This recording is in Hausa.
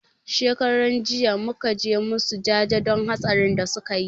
Shekaran jiya muka je musu jaje don hatsarin da suka yi